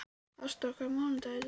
Ásdór, hvaða mánaðardagur er í dag?